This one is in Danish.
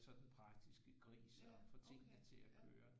Så den praktiske gris og få tingene til at køre